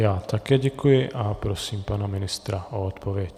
Já také děkuji a prosím pana ministra o odpověď.